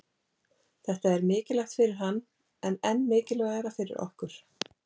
Þetta er mikilvægt fyrir hann en enn mikilvægara fyrir okkur